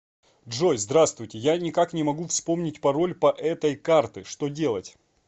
джой здравствуйте я ни как не могу вспомнить пароль по этой карты что делать